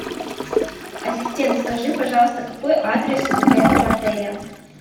ассистент скажи пожалуйста какой адрес у этого отеля